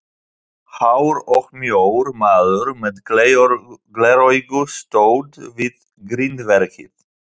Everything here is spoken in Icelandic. Hár og mjór maður með gleraugu stóð við grindverkið.